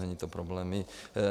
Není to problém.